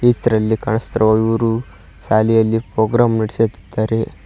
ಚಿತ್ರದಲ್ಲಿ ಕಾಣಿಸುತ್ತಿರುವ ಇವರು ಶಾಲೆಯಲ್ಲಿ ಪೋಗ್ರಾಮ್ ನೆಡೆಸುತ್ತಿದ್ದಾರೆ.